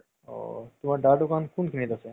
ঔ তুমাৰ দাদাৰ দুকান কোনখিনিত আছে